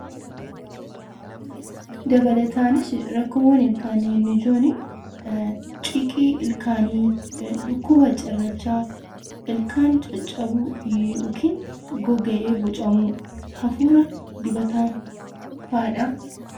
Dabalataanis rakkoowwan ilkaanii inni ijoon ciqii ilkaanii, dhukkuba cirrachaa, ilkaan caccabu yookiin goga'ee bocamu hafuura dibataafaadha.